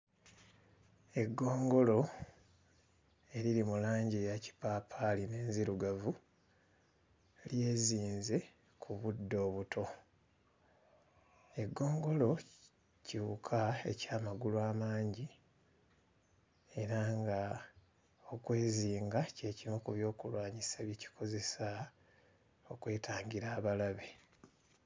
Eggongolo eriri mu langi eya kipaapaali n'enzirugavu, lyezinze ku buddo obuto. Eggongolo kiwuka eky'amagulu amangi era nga okwezinga kye kimu ku byokulwanyisa bye kikozesa okwetangira abalabe..